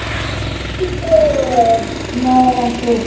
Gylfi: Nei en þú?